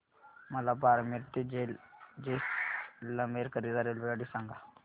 मला बारमेर ते जैसलमेर करीता रेल्वेगाडी सांगा